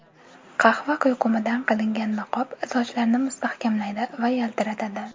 Qahva quyqumidan qilingan niqob sochlarni mustahkamlaydi va yaltiratadi.